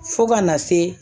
Fo kana se